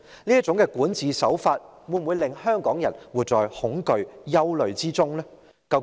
這種管治手法會否令香港人活在恐懼和憂慮之中呢？